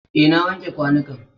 Eh, na wanke kwanukan.